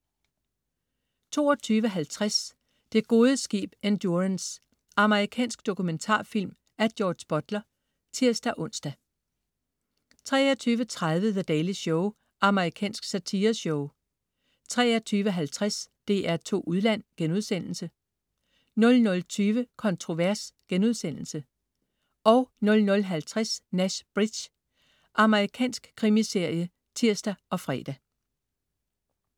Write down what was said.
22.50 Det gode skib Endurance. Amerikansk dokumentarfilm af George Butler (tirs-ons) 23.30 The Daily Show. Amerikansk satireshow 23.50 DR2 Udland* 00.20 Kontrovers* 00.50 Nash Bridges. Amerikansk krimiserie (tirs og fre)